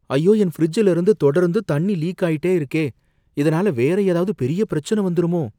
ஐயோ என் ஃபிரிட்ஜ்ல இருந்து தொடர்ந்து தண்ணி லீக் ஆயிட்டே இருக்கே இதனால வேற ஏதாவது பெரிய பிரச்சனை வந்துருமோ?